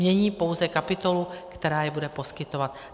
Mění pouze kapitolu, která je bude poskytovat.